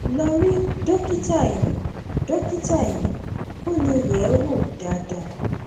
lọ rí dókítà eyín dókítà eyín kó lè yẹ ẹ wò dáadáa